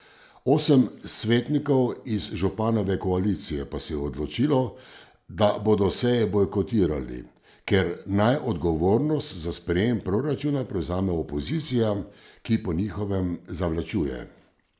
Osem svetnikov iz županove koalicije pa se je odločilo, da bodo seje bojkotirali, ker naj odgovornost za sprejem proračuna prevzame opozicija, ki po njihovem zavlačuje.